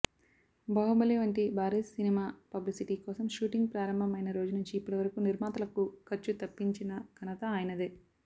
బాహుబలి వంటి భారీస్ సినిమా పబ్లిసిటీకోసం షూటింగ్ ప్రారంభం అయిన రోజునుంచి ఇప్పటివరకు నిర్మాతలకు ఖర్చు తప్పించిన ఘనత ఆయనదే